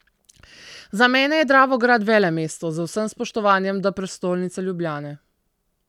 Za mene je Dravograd velemesto, z vsem spoštovanjem do prestolnice Ljubljane.